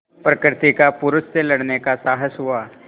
प्रकृति का पुरुष से लड़ने का साहस हुआ